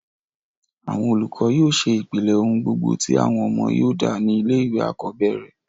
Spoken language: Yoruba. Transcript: àwọn olùkọ́ yóò ṣe ìpìlẹ̀ ohùn gbogbo tí àwọn ọmọ yóò dà ní ilé ìwé àkọ́bẹ̀rẹ̀